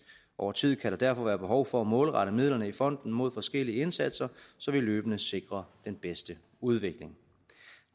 over tid kan der derfor være behov for at målrette midlerne i fonden mod forskellige indsatser så vi løbende sikrer den bedste udvikling